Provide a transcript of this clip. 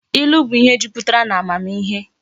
Ilu bu ihe juputara na amamihe